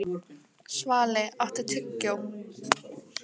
Svali, áttu tyggjó?